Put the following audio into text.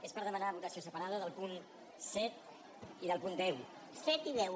és per demanar votació separada del punt set i del punt deu